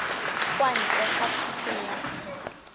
kwa ntle ga thuso ya